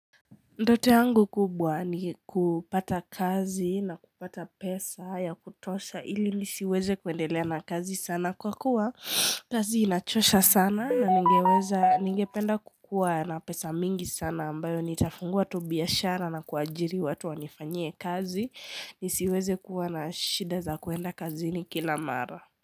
Ndoto yangu kubwa ni kupata kazi na kupata pesa ya kutosha ili nisiweze kuendelea na kazi sana kwa kuwa kazi inachosha sana na ningeweza ningependa kukuwa na pesa mingi sana ambayo nitafungua tu biashara na kuajiri watu wanifanyie kazi nisiweze kuwa na shida za kuenda kazini kila mara.